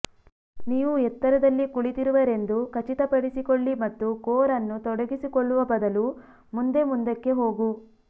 ನೀವು ಎತ್ತರದಲ್ಲಿ ಕುಳಿತಿರುವಿರೆಂದು ಖಚಿತಪಡಿಸಿಕೊಳ್ಳಿ ಮತ್ತು ಕೋರ್ ಅನ್ನು ತೊಡಗಿಸಿಕೊಳ್ಳುವ ಬದಲು ಮುಂದೆ ಮುಂದಕ್ಕೆ ಹೋಗು